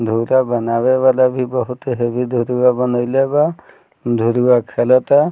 धुरा बनावे वाला भी बहुत हैवी दुधवा बनएले बा धुरवा खेलता।